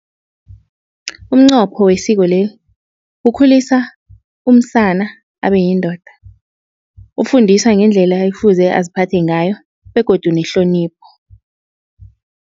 Umnqopho wesiko kukhulisa umsana abe yindoda. Ufundisa ngendlela efuze aziphathe ngayo begodu nehlonipho.